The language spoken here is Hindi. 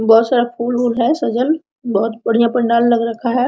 बहुत सारा फूल-उल है सजल बहुत बढ़िया पंडाल लग रखा है।